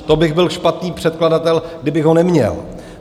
To bych byl špatný předkladatel, kdybych ho neměl.